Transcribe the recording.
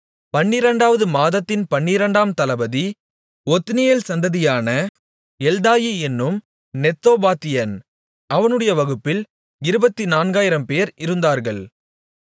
பன்னிரண்டாவது மாதத்தின் பன்னிரண்டாம் தளபதி ஒத்னியேல் சந்ததியான எல்தாயி என்னும் நெத்தோபாத்தியன் அவனுடைய வகுப்பில் இருபத்து நான்காயிரம்பேர் இருந்தார்கள்